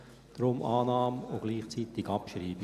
Deshalb: Annahme und gleichzeitig Abschreibung.